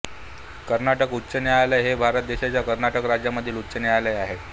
कर्नाटक उच्च न्यायालय हे भारत देशाच्या कर्नाटक राज्यामधील उच्च न्यायालय आहे